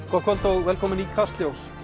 gott kvöld og velkomin í Kastljós